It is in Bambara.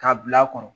K'a bil'a kɔnɔ